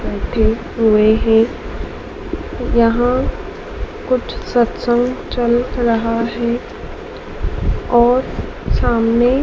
रखे हुए है। यहां कुछ सत्संग चल रहा है और सामने--